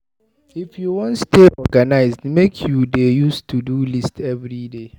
If you wan stay organized, make you dey use Todo list everyday.